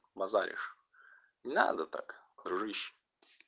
базаришь не надо так дружище